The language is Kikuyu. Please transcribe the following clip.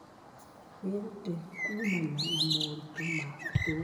Wĩrute kuumana na moritũ ma ũtũũro.